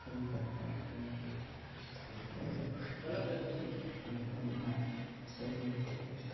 कई प्रकार का सब ऐठ--